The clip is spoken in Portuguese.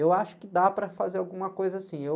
Eu acho que dá para fazer alguma coisa assim. Eu...